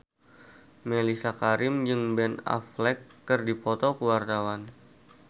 Mellisa Karim jeung Ben Affleck keur dipoto ku wartawan